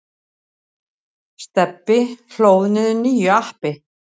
Stebbi hlóð niður nýju appi.